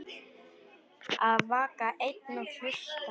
Að vaka einn og hlusta